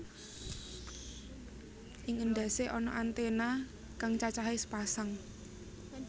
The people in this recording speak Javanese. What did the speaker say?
Ing endhasé ana antèna kang cacahe sepasang